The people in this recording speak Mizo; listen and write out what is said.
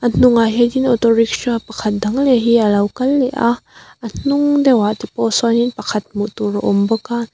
hnungah hian in auto rickshaw pakhat dang leh hi alo kal leh a a hnung deuh ah te pawh sawnin pakhat hmuh tur a awm bawk a--